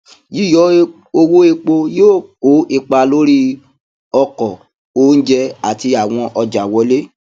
yíyọ owó epo yóò kó ipa lórí ọkọ oúnjẹ àti àwọn ọjà wọlé